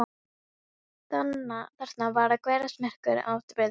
Þarna var að gerast merkur atburður í baráttunni.